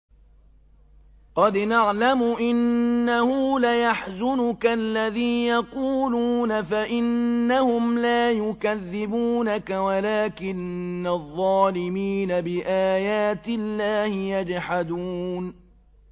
قَدْ نَعْلَمُ إِنَّهُ لَيَحْزُنُكَ الَّذِي يَقُولُونَ ۖ فَإِنَّهُمْ لَا يُكَذِّبُونَكَ وَلَٰكِنَّ الظَّالِمِينَ بِآيَاتِ اللَّهِ يَجْحَدُونَ